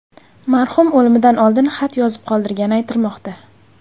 Marhum o‘limidan oldin xat yozib qoldirgani aytilmoqda.